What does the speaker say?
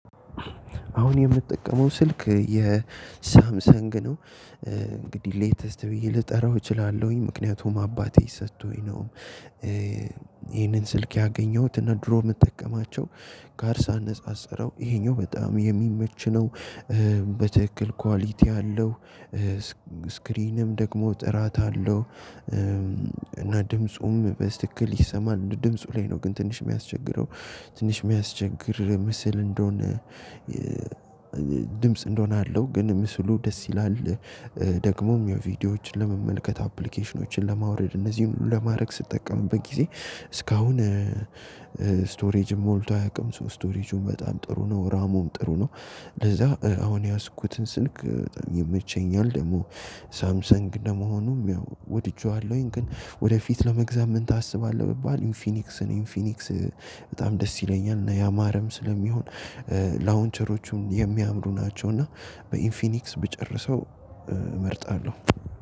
አሁን የምጠቀመው ስልክ የሳምሰንግ ነው። እንግዲህ ሌተስት ብዬ ልጠራው እችላለሁኝ ምክንያቱም አባቴ ሰቶኝ ነው። ይሄንን ስልክ ያገኘሁት እና ድሮ ምጠቀማቸው ጋር ሳነጻጽረው ይሄኛው በጣም የሚመች ነው። በትክክል ኳሊቲ አለው። ስክሪንም ደግሞ ጥራት አለው። እና ድምፁም በስትክል ይሰማል ድምፁ ላይ ነው ግን ትንሽ የሚያስቸግረው። ትንሽ የሚያስቸግር ምስል እንደሆነ ድምጽ እንደሆነ አለው ግን ምስሉ ደስ ይላል። ደግሞም የቪዲዮዎችን ለመመልከት አፕሊኬሽኖችን ለማውረድ እነዚህን ሁሉ ለማድረግ ስጠቀምበት ጊዜ እስካሁን ስቶሬጅ ሞልቶ አያቅም ሶ ስቶሬጁም በጣም ጥሩ ነው ራሙም ጥሩ ነው። ለዛ አሁን የያዝኩትን ስልክ ይመቸኛል። ደሞ ሳምሰንግ እንደመሆኑም ያው ወድጄዋለሁኝ ግን ወደፊት ለመግዛት ምን ታስባለህ? ብባል ኢንፊኒክስ ኢንፊኒክስ በጣም ደስ ይለኛል። እና ያማረም ስለሚሆን ላውንቸሮቹም የሚያምሩ ናቸው። እና በኢንፊኒክስ ብጨርሰው እመርጣለሁ።